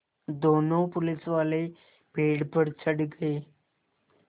दोनों पुलिसवाले पेड़ पर चढ़ गए